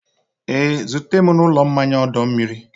Ee, zute m n'ụlọ mmanya ọdọ mmiri.